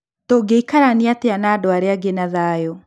Tũngĩikarania atĩa na andũ arĩa angĩ na thayũ.